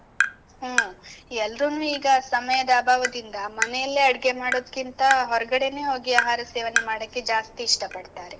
ಹ್ಮ್, ಎಲ್ರೂನೂ ಈಗ ಸಮಯದ ಅಭಾವದಿಂದ, ಮನೆಯಲ್ಲೇ ಅಡ್ಗೆ ಮಾಡೋದ್ಕಿಂತ, ಹೊರ್ಗಡೆನೇ ಹೋಗಿ ಆಹಾರ ಸೇವನೆ ಮಾಡಕ್ಕೆ ಜಾಸ್ತಿ ಇಷ್ಟ ಪಡ್ತಾರೆ.